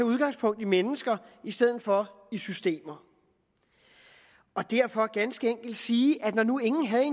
udgangspunkt i mennesker i stedet for i systemer og derfor ganske enkelt sige at når nu ingen havde